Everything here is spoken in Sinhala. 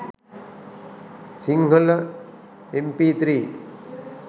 sinhala mp3